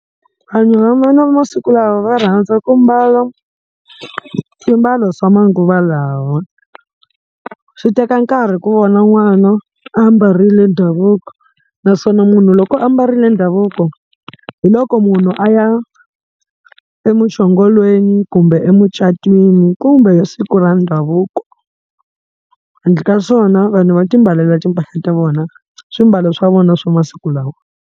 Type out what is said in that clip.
Vanhu va masiku lawa va rhandza ku mbala swimbalo swa manguva lawa, swi teka nkarhi ku vona n'wana a ambarile ndhavuko naswona munhu loko a ambarile ndhavuko hi loko munhu a ya emuchongolweni kumbe emucatweni kumbe siku ra ndhavuko handle ka swona vanhu va timbalela timphahla ta vona swimbalo swa vona swa masiku lawa.